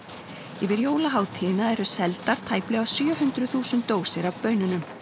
yfir jólahátíðina eru seldar tæplega sjö hundruð þúsund dósir af baununum